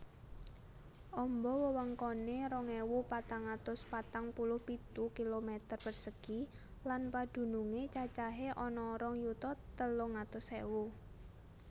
Amba wewengkoné rong ewu patang atus patang puluh pitu kilometer persegi lan padunungé cacahé ana rong yuta telung atus ewu